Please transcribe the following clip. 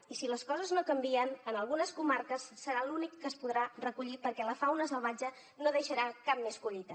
i si les coses no canvien en algunes comarques serà l’únic que es podrà recollir perquè la fauna salvatge no deixarà cap més collita